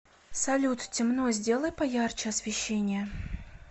салют темно сделай поярче освещение